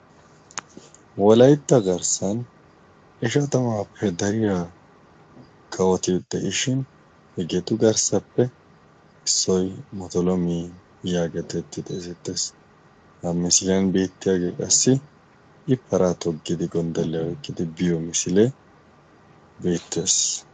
wolaitta garssan ishatamaappe dariyaa kawoti de7ishin hegeetu garssappe issoi motolomi yaagetetti xeesettees ha misiliyan beettiyaagee qassi i paraa toggidi gonddolliya eqqidi biyo misilee beettees